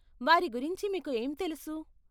వారి గురించి మీకు ఏం తెలుసు?